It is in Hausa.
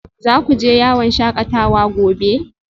Za ku je yawon shakatawa gobe?